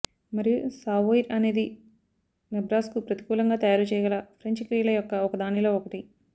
మరియు సావోయిర్ అనేది నెబ్రాస్కు ప్రతికూలంగా తయారు చేయగల ఫ్రెంచ్ క్రియల యొక్క ఒకదానిలో ఒకటి